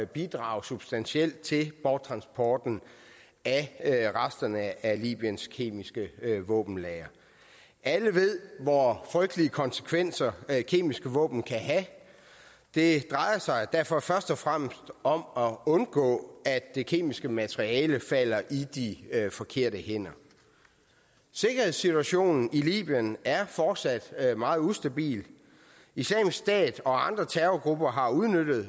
bidrage substantielt til borttransporten af resterne af libyens kemiske våbenlagre alle ved hvor frygtelige konsekvenser kemiske våben kan have det drejer sig derfor først og fremmest om at undgå at det kemiske materiale falder i de forkerte hænder sikkerhedssituationen i libyen er fortsat meget ustabil islamisk stat og andre terrorgrupper har udnyttet